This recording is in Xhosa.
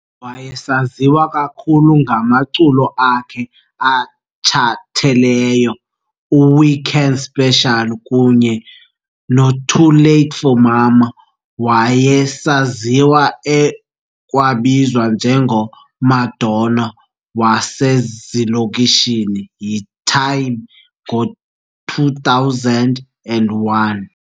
Wayesaziwa kakhulu ngamaculo akhe atshathelelyo "u-Weekend Special" kunye no "Too Late for Mama", wayesaziwa ekwabizwa nje ngo "Madonna wasezilokishini" yi "Time" ngo2001.